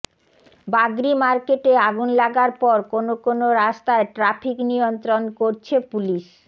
বাগরি মার্কেটে আগুন লাগার পর কোন কোন রাস্তায় ট্রাফিক নিয়ন্ত্রণ করছে পুলিশ